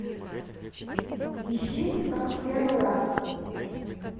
ищи как в первый раз